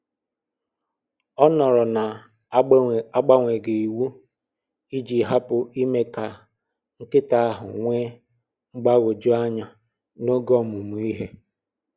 Ọ nọrọ na agbanweghị iwu iji hapụ ime ka nkịta ahụ nwee mgbagwoju anya n'oge ọmụmụ ihe